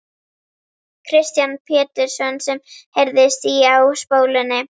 Kristján Pétursson sem heyrðist í á spólunni.